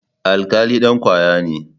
Alkali dan kwaya ne.